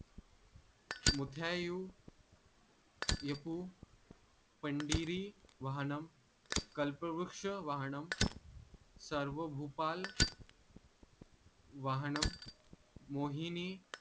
मुथ्याउ येपु पन्दिरी वाहणम कल्पवृक्ष वाहणम सर्वभूपाल वाहणम मोहिनी